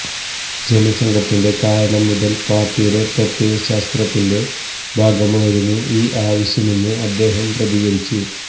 ജനസംഘത്തിന്റെ കാലം മുതല് പാര്ട്ടിയുടെ പ്രത്യയശാസ്ത്രത്തിന്റെ ഭാഗമായിരുന്നു ഈ ആവശ്യമെന്ന് അദ്ദേഹം പ്രതികരിച്ചു